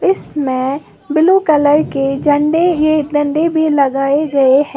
इसमें blue colour के झंडे ये डंडे भी लगाए गए हैं।